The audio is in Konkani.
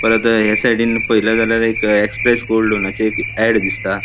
परत या साइडीन पयले झाल्यार एक एक्स्प्रेस गोल्ड लोनाचे एक ऐड दिसता.